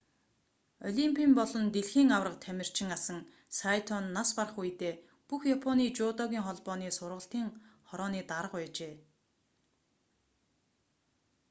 олимпийн болон дэлхийн аварга тамирчин асан сайто нь нас барах үедээ бүх японы жүдогийн холбооны сургалтын хорооны дарга байжээ